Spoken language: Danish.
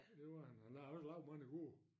Det var han han har også lavet mange gode